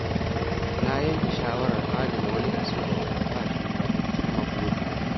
Na yanke shawarar adana wani kaso daga albashina don cimma burina.